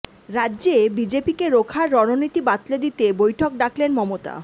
রাজ্যে বিজেপিকে রোখার রণনীতি বাতলে দিতে বৈঠক ডাকলেন মমতা